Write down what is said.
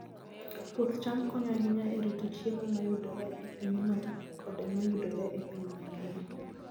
Puoth cham konyo ahinya e rito chiemo ma yudore e pinyno koda ma yudore e piny mangima.